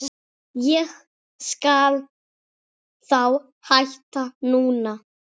Ég skal þá hætta núna.